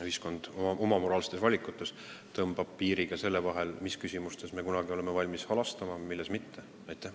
Ühiskond tõmbab oma moraalsetes valikutes piiri ka selle vahele, mis küsimustes me üldse oleme valmis halastama, mis küsimustes mitte.